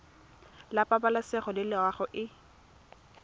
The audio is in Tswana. la pabalesego le loago e